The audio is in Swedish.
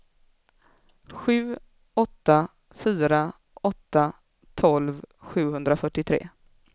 sju åtta fyra åtta tolv sjuhundrafyrtiotre